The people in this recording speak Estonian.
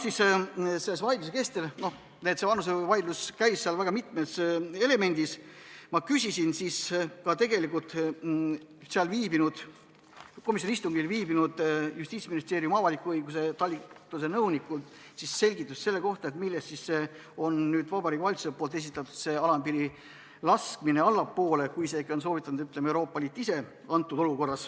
Selle vaidluse kestel – see vanusevaidlus käis väga mitmes elemendis – küsisin ma komisjoni istungil viibinud Justiitsministeeriumi avaliku õiguse talituse nõunikult selgitust selle kohta, millest siis on tulnud see, et Vabariigi Valitsus on esitanud ettepaneku tuua see alampiir allapoole, kui on soovitanud Euroopa Liit ise.